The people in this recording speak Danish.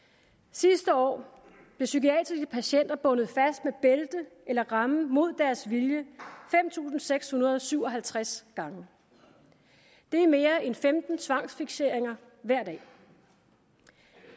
sidste år blev psykiatriske patienter bundet fast med bælte eller remme imod deres vilje fem tusind seks hundrede og syv og halvtreds gange det er mere end femten tvangsfikseringer hver dag